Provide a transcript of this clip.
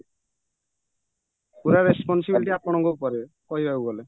ପୁରା responsibility ଆପଣଙ୍କ ଉପରେ କହିବାକୁ ଗଲେ